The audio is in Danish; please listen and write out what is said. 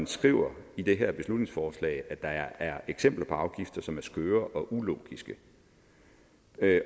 skriver i det her beslutningsforslag at der er eksempler på afgifter som er skøre og ulogiske